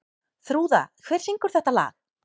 Þrúða, hver syngur þetta lag?